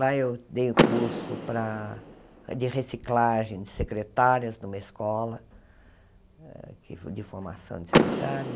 Lá eu dei um curso para de reciclagem de secretárias numa escola, de formação de secretárias.